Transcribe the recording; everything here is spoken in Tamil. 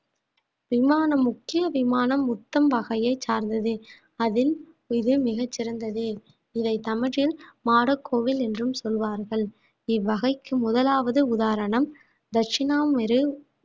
விமானம் முக்கிய விமானம் முத்தம் வகையைச் சார்ந்தது அதில் இது மிகச் சிறந்தது இதை தமிழில் மாடக் கோவில் என்றும் சொல்வார்கள் இவ்வகைக்கு முதலாவது உதாரணம் தட்சிணாமுறு